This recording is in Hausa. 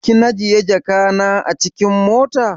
Kinajiye jaka na acikin mota?